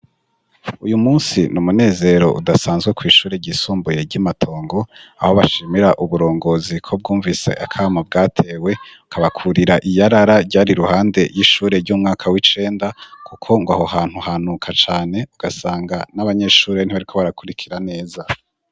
Uyu munsi ni umunezero udasanzwe kw' ishure ryisumbuye ry' i Matongo, aho bashimira uburongozi ko bwumvise akamo bwatewe bukabakurira iyarara ryari ruhande y'ishure ry' umwaka w'icenda kuko ngw'aho hantu hanuka cane, ugasanga n'abanyeshure ntibariko barakurikira neza.